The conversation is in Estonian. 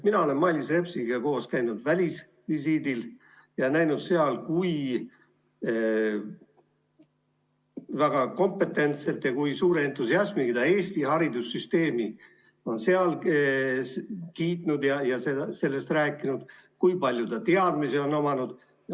Mina olen Mailis Repsiga koos käinud välisvisiidil ja näinud seda, kui kompetentselt ja suure entusiasmiga ta on seal Eesti haridussüsteemi kiitnud ja sellest rääkinud, nii palju kui tal on teadmisi olnud.